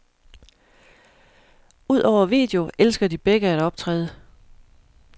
Udover video elsker de begge at optræde.